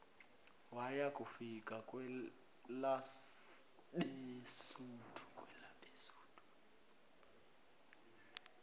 waya kufika kwelabesuthu